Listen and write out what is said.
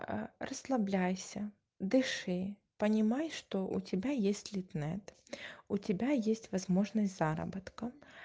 аа расслабляйся дыши понимай что у тебя есть литнет у тебя есть возможность заработка